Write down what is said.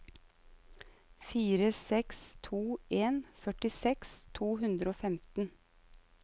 fire seks to en førtiseks to hundre og femten